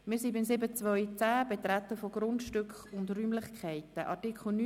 7.2.10 Betreten von Grundstücken und Räumlichkeiten